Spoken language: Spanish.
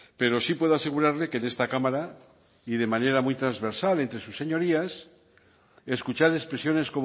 pero sí puedo asegurarle que en esta cámara y de manera muy transversal entre sus señorías escuchar expresiones